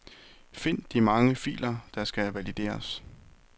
Find de mange filer der skal valideres.